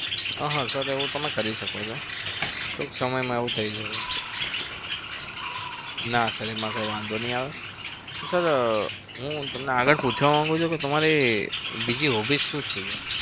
હ હ તો તો એવું તમે કરી શકો છો ટૂંક સમયમાં એવું થઇ જશે. ના sir એમાં કઈ વાંધો નહિ આવે sir હું તમને આગળ પૂછવા માંગું છું કે તમારી બીજી hobbies શું શું છે?